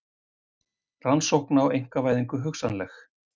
Rannsókn á einkavæðingu hugsanleg